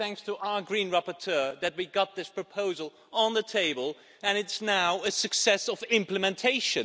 But itʼs thanks to our Green rapporteur that we got this proposal on the table, and it's now a success of implementation.